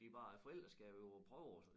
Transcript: De bare er forældre skal jo prøve også